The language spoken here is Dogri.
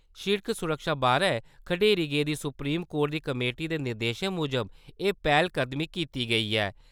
सिड़क सुरक्षा बारै खडेरी गेदी सुप्रीम कोर्ट दी कमेटी दे निर्देशें मुजब, एह् पैह्‌लकदमी कीती गेई ऐ।